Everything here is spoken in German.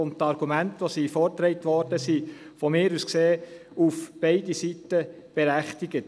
Die vorgetragenen Argumente beider Seiten sind meiner Meinung nach berechtigt.